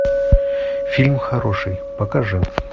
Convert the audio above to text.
фильм хороший покажи